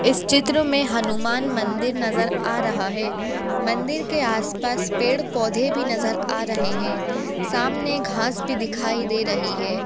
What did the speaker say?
इस चित्र में हनुमान मंदिर नजर आ रहा है मंदिर के आस पास पेड़-पौधे भी नजर आ रहे है सामने घास भी दिखाई दे रही है।